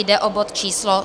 Jde o bod číslo